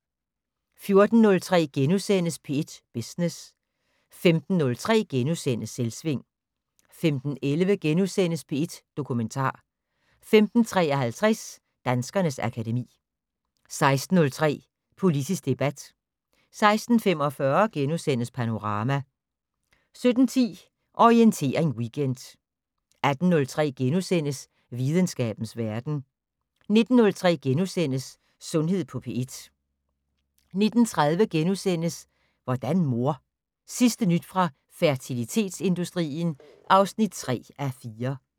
14:03: P1 Business * 15:03: Selvsving * 15:11: P1 Dokumentar * 15:53: Danskernes akademi 16:03: Politisk debat 16:45: Panorama * 17:10: Orientering Weekend 18:03: Videnskabens verden * 19:03: Sundhed på P1 * 19:30: Hvordan mor? Sidste nyt fra fertilitetsindustrien (3:4)*